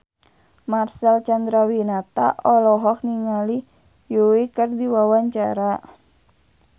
Marcel Chandrawinata olohok ningali Yui keur diwawancara